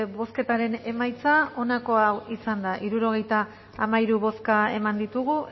bozketaren emaitza onako izan da hirurogeita hamairu eman dugu